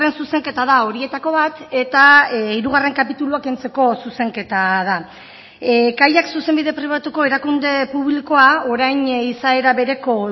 zuzenketa da horietako bat eta hirugarren kapitulua kentzeko zuzenketa da kaiak zuzenbide pribatuko erakunde publikoa orain izaera bereko